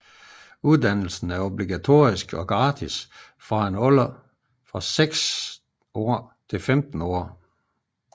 Uddannelse er obligatorisk og gratis fra en alder af 6 til 15 år